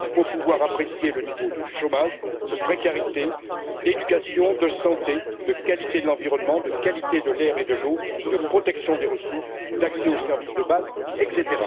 Il faut pouvoir apprécier le niveau de chômage, de précarité, d'éducation, de santé, de qualité de l'environnement, de qualité de l'air et de l'eau, de protection des ressources, d'accès aux services de base, etc.